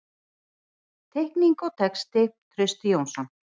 Teikning og texti: Trausti Jónsson.